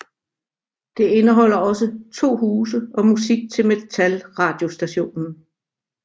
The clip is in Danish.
Det indeholder også to huse og musik til Metal radiostationen